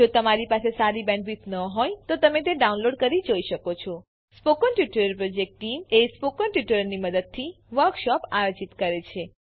જો તમારી પાસે સારી બેન્ડવિડ્થ ન હોય તો તમે ડાઉનલોડ કરી તે જોઈ શકો છો spoken tutorial project team spoken ટ્યુટોરીયલોની મદદથી વર્કશોપ આયોજિત કરે છે